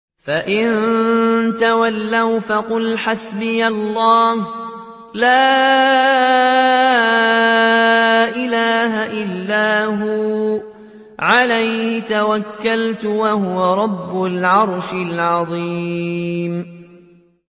فَإِن تَوَلَّوْا فَقُلْ حَسْبِيَ اللَّهُ لَا إِلَٰهَ إِلَّا هُوَ ۖ عَلَيْهِ تَوَكَّلْتُ ۖ وَهُوَ رَبُّ الْعَرْشِ الْعَظِيمِ